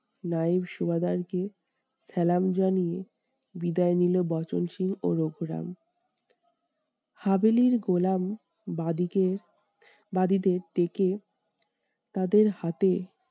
নায়েব সুবাদারকে জানিয়ে বিদায় নিলো বচনসুর ও রঘুরাম। গোলাম বাঁ দিকে বাদীদের দেখে তাদের হাতে